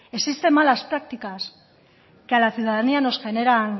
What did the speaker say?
existen malas prácticas que a la ciudadanía nos genera